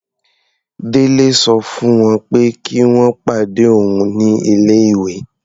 Délé sọ fún wọ́n pé kí wọ́n pàdé òun ní ilé-ìwé.